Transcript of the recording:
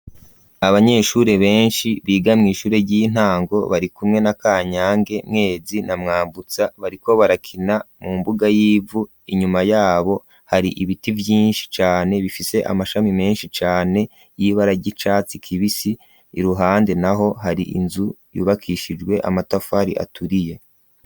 Abanyeshuri benshi bigamwe ishuri ry'intango bari kumwe na kanyange mwezi na mwambutsa bariko barakina mu mbuga y'ivu inyuma yabo hari ibiti vyinshi cane bifise amashami menshi cane yibaarary'icatsi kibisi i ruhande na ho hari inzu yubakishijwe amatafaria aturiye.